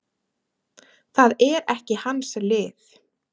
Það er ekki hans lið.